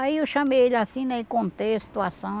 Aí eu chamei ele assim, né e contei a situação.